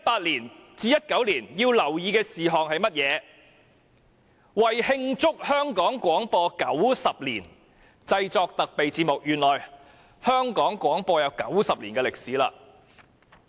其中一項是"為慶祝香港廣播九十年製作特備節目"，原來香港廣播已有90年歷史了。